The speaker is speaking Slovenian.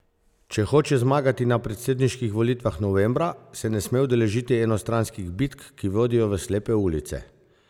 Če hoče zmagati na predsedniških volitvah novembra, se ne sme udeležiti enostranskih bitk, ki vodijo v slepe ulice.